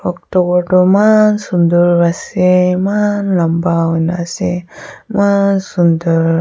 tower toh eman sundur ase eman lamba hoina ase eman sundur.